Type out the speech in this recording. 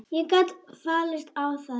Ég gat fallist á það.